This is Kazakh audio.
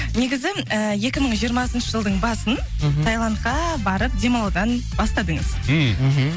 негізі ііі екі мың жиырмасыншы жылдың басын мхм тайландқа барып демалудан бастадыңыз мхм мхм